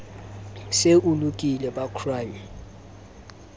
se o lokile ba crime